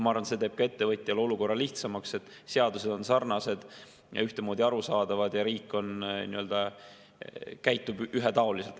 Ma arvan, et see teeb ka ettevõtjale olukorra lihtsamaks, kui seadused on sarnased ja ühtemoodi arusaadavad ja riik nii-öelda käitub ühetaoliselt.